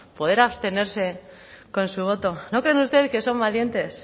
poder abstenerse con su voto no creen ustedes que son valientes